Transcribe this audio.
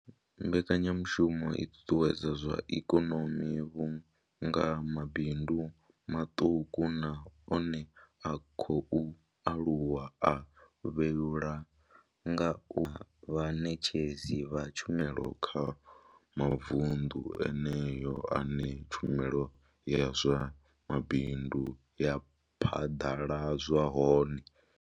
Mbekanyamushumo i ṱuṱuwedza zwa ikonomi vhunga mabindu maṱuku na one a khou aluwa a vhuelwa nga u vha vhaṋetshedzi vha tshumelo kha mavundu eneyo ane tshumelo ya zwa mabindu ya phaḓaladzwa hone.